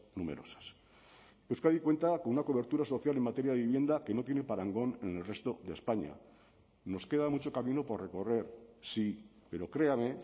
numerosas euskadi cuenta con una cobertura social en materia de vivienda que no tiene parangón en el resto de españa nos queda mucho camino por recorrer sí pero créame